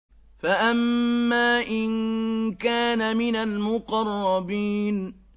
فَأَمَّا إِن كَانَ مِنَ الْمُقَرَّبِينَ